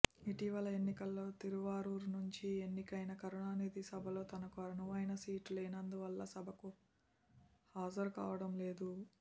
ఇటీవలి ఎన్నికల్లో తిరువారూర్ నుంచి ఎన్నికైన కరుణానిధి సభలో తనకు అనువైన సీటు లేనందువల్ల సభకు హాజరు కావడం లేదు